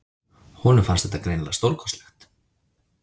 Honum fannst þetta greinilega stórkostlegt.